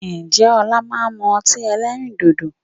Ǹjẹ́ ọlá máa ń mú ọtí ẹlẹ́rìndòdò?